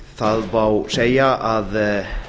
það má segja að